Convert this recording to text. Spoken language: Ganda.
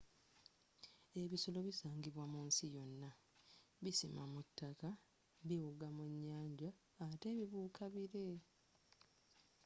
ebisolo bisangibwa mu nsi yonna bisima mu taka biwuga mu nyanja ate bibuuka bire